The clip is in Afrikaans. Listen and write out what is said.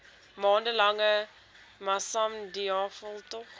maande lange massamediaveldtog